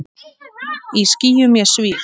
Í skýjum ég svíf.